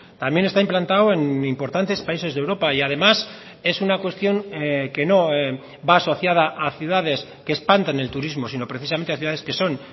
también está implantado en importantes países de europa y además es una cuestión que no va asociada a ciudades que espantan el turismo sino precisamente a ciudades que son